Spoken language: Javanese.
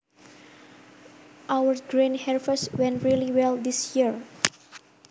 Our grain harvest went really well this year